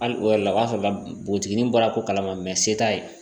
Hali o yɛrɛ la o fɛ npogotiginin bɔra ko kala ma se t'a ye